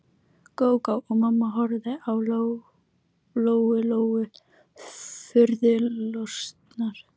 Gógó og mamma horfðu á Lóu Lóu furðu lostnar.